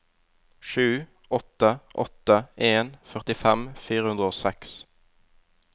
sju åtte åtte en førtifem fire hundre og seks